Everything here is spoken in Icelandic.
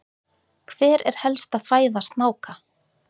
hver er helsta fæða snáka